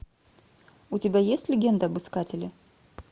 у тебя есть легенда об искателе